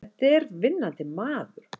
Þetta er vinnandi maður!